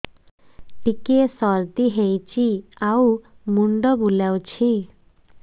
ଟିକିଏ ସର୍ଦ୍ଦି ହେଇଚି ଆଉ ମୁଣ୍ଡ ବୁଲାଉଛି